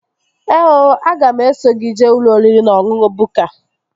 Ee ooooo, aga m eso gị jee ụlọ oriri na ọṅụṅụ Bukka